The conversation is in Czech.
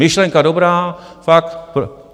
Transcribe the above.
Myšlenka dobrá, fakt.